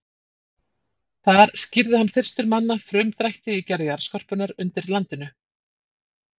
Þar skýrði hann fyrstur manna frumdrætti í gerð jarðskorpunnar undir landinu.